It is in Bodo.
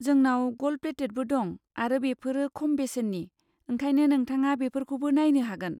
जोंनाव गल्ड प्लेटेटबो दं आरो बेफोरो खम बेसेननि, ओंखायनो नोंथाङा बेफोरखौबो नायनो हागोन।